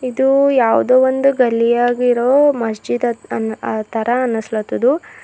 ಇದು ಯಾವುದೋ ಒಂದು ಗಲ್ಲಿಯಾಗಿರೊ ಮಸ್ಜಿದ್ ಅನ್ನ ಆತರ ಅನ್ನಸ್ಲತದು.